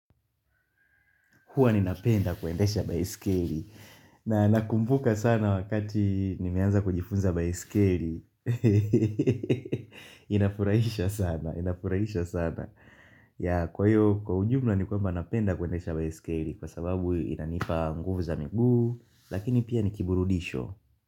Huwa ninapenda kuendesha baeskeli. Na nakumbuka sana wakati nimeanza kujifunza baeskeli. Inafurahisha sana. Inafurahisha sana. Ya kwa hiyo, kwa ujumla ni kwamba napenda kuendesha baeskeli. Kwa sababu inanipa nguvu za miguu. Lakini pia nikiburudisho.